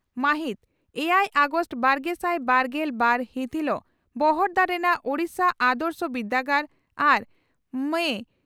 ᱢᱟᱹᱦᱤᱛ ᱮᱭᱟᱭ ᱟᱜᱚᱥᱴ ᱵᱟᱨᱜᱮᱥᱟᱭ ᱵᱟᱨᱜᱮᱞ ᱵᱟᱨ ᱦᱤᱛ ᱦᱤᱞᱚᱜ ᱵᱚᱦᱲᱫᱟ ᱨᱮᱱᱟᱜ ᱳᱰᱤᱥᱟ ᱟᱫᱨᱚᱥᱚ ᱵᱤᱨᱫᱟᱹᱜᱟᱲ ᱟᱨ ᱢᱟᱹ